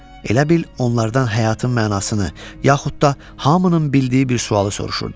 Elə bil onlardan həyatın mənasını, yaxud da hamının bildiyi bir sualı soruşurdum.